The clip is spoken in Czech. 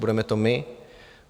Budeme to my?